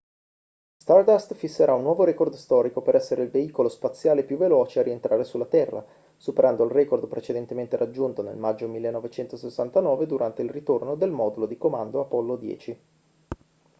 stardust fisserà un nuovo record storico per essere il veicolo spaziale più veloce a rientrare sulla terra superando il record precedente raggiunto nel maggio 1969 durante il ritorno del modulo di comando apollo 10